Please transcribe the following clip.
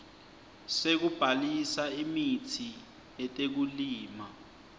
sekubhalisa imitsi yetekulima